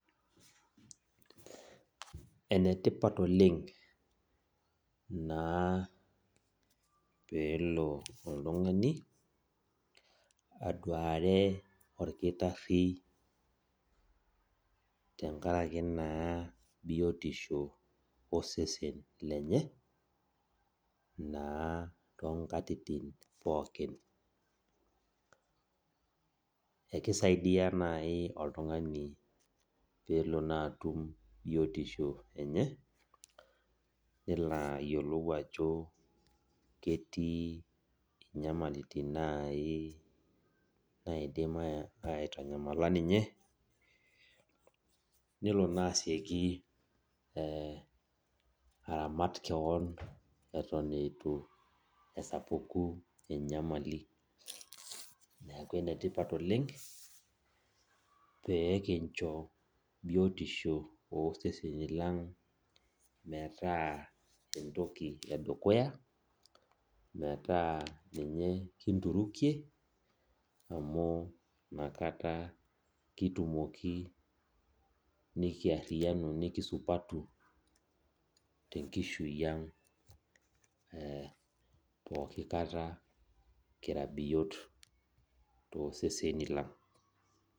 Enetipat oleng naa pelo oltung'ani, aduare olkitarri tenkaraki naa biotisho osesen lenye, naa tonkatitin pookin. Ekisaidia nai oltung'ani pelo naa atum biotisho enye, nelo ayiolou ajo ketii nyamalitin nai nadim aitanyamala ninye, nelo nasieki aramat keon eton itu esapuku enyamali. Neeku enetipat oleng, pekincho biotisho oseseni lang' metaa entoki edukuya, metaa ninye kinturukie, amu nakata kitumoki nikiarriyianu nikisupatu, tenkishui ang' pooki kata kira biot toseseni lang'.